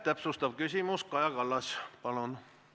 Täpsustav küsimus, Kaja Kallas, palun!